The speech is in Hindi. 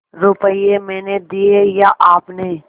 रुपये मैंने दिये या आपने